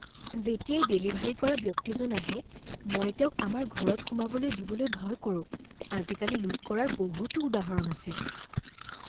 যেতিয়াই ডেলিভাৰী কৰা ব্যক্তিজন আহে, মই তেওঁক আমাৰ ঘৰত সোমাবলৈ দিবলৈ ভয় কৰো। আজিকালি লুট কৰাৰ বহুতো উদাহৰণ আছে।